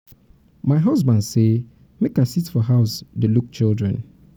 my husband me say make i sit for house dey look the children.